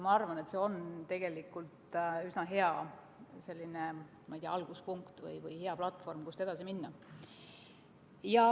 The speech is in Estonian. Ma arvan, et see on üsna hea, ma ei tea, alguspunkt või platvorm, kust edasi minna.